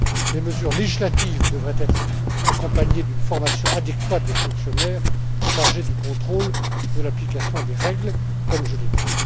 Les mesures législatives devraient être accompagnées d'une formation adéquate des fonctionnaires chargés du contrôle de l'application des règles, comme je l'ai dit.